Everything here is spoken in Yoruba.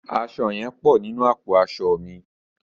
Aṣọ yẹn pọ̀ nínú àpò aṣọ mi.